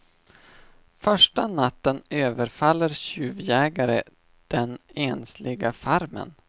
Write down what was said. Första natten överfaller tjuvjägare den ensliga farmen.